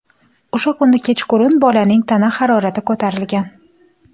O‘sha kuni kechqurun bolaning tana harorati ko‘tarilgan.